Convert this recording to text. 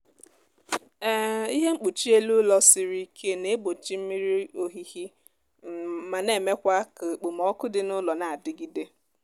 um ihe mkpuchi elu ụlọ siri ike na-egbochi mmiri ohihi um ma na-emekwa ka ekpomọku dị n'ụlọ na-adigide